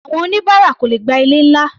Àwọn oníbáárà kò lè gba ilé-ńlá.